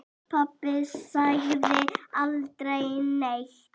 Pabbi sagði aldrei neitt.